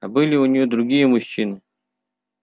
а были у нее другие мужчины